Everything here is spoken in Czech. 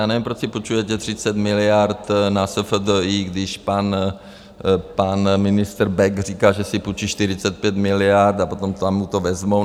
Já nevím, proč si půjčujete 30 miliard na SFDI, když pan ministr Bek říká, že si půjčí 45 miliard a potom tam mu to vezmou.